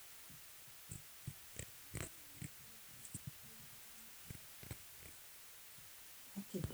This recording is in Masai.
ore eeria naari tolchani lenye, ntumia Glyphosphate piiar eriaa too nkwashen olkokoyok too wiki are eton eitun iun